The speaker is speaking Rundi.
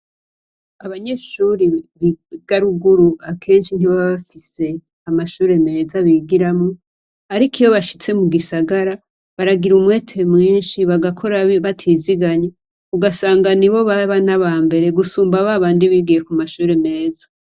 Abanyeshure biga ruguru akenshi ntibaba bafise amashure meza bigiramwo. Ariko iyo bashitse mu gisagara, baragira umwete mwinshi, bagakora batiziganya. Ugasanga nibo baba n'aba mbere gusumba babandi bigiye ku mashure meza.